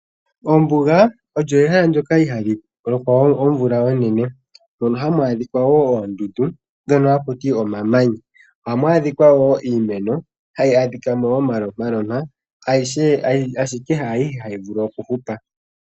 Ombuga olyo ehala ndyoka ihaali lokwa omvula onene. Mono hamu adhika woo oondundu ndhono hakuti omamanya. Ohamu adhika wo iimeno hayi adhika mo omalompalompa, ashike haayihe hayi vulu oku hupa.